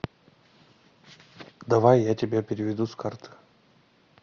давай я тебе переведу с карты